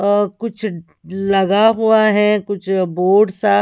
और कुछ लगा हुआ है कुछ बोर्ड सा--